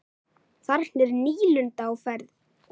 Þarna er nýlunda á ferð.